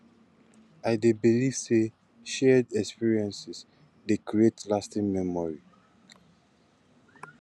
i dey believe say shared experiences dey create lasting memories